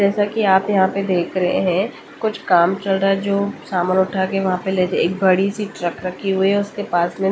जैसा कि आप यहाँ पे देख रहे हैं कुछ काम चल रहा है। जो सामान उठा के वहाँ पे लेते एक बड़ी सी ट्रक रखी हुई है उसके पास में।